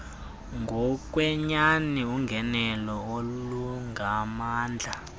ngokwenyani ungenelo olungamandla